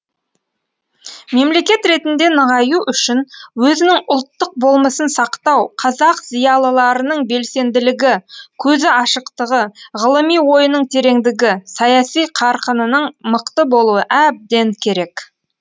мемлекет ретінде нығаю үшін өзінің ұлттық болмысын сақтау қазақ зиялыларының белсенділігі көзі ашықтығы ғылыми ойының тереңдігі саяси қарқынының мықты болуы әбден керек